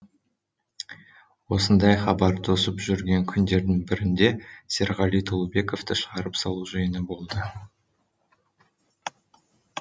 осындай хабар тосып жүрген күндердің бірінде серғали толыбековті шығарып салу жиыны болды